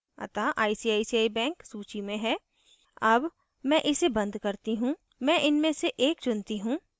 अतः icici bank सूची में है अब मैं इसे बंद करती choose मैं इनमें से एक चुनती choose